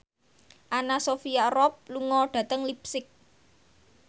Anna Sophia Robb lunga dhateng leipzig